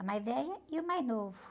A mais velha e o mais novo.